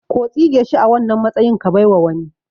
Ko tsige shi a wannan matsayin ka baiwa wani